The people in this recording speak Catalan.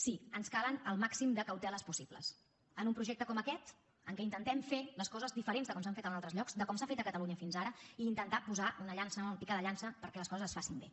sí ens calen el màxim de cauteles possibles en un projecte com aquest en què intentem fer les coses diferents de com s’han fet en altres llocs de com s’ha fet a catalunya fins ara i intentar posar una pica de llança perquè les coses es facin bé